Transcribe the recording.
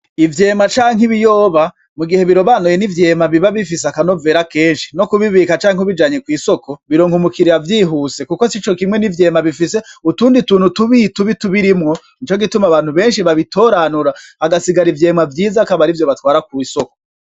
Ivyema canke ibiyoba mugihe birobanuye, ni ivyema biba bifise akanovera kenshi. No kubibika canke ubijanye kw'isoko, bironka umu kiliya vyihuse, kuko sico kimwe n'ivyema bifise utundi tuntu tubi tubi tubirimwo. Nico gituma abantu kenshi babitoranura hagasigara ivyo batwara kw'isoko.